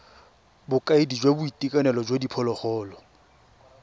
bokaedi jwa boitekanelo jwa diphologolo